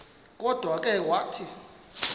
kodwa ke wathi